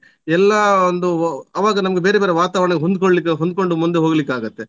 ಎಲ್ಲ ಒಂದು ಆವಾಗ ನಮ್ಗೆ ಬೇರೆ ಬೇರೆ ವಾತಾವರಣಕ್ಕೆ ಹೊಂದುಕೊಳ್ಳಿಕ್ಕೆ ಹೊಂದುಕೊಂಡು ಮುಂದೆ ಹೋಗ್ಲಿಕ್ಕಾಗುತ್ತೆ.